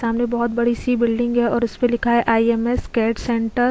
सामने बहुत बड़ी सी बिल्डिंग है और उसपे लिखा है I M S CAD centre --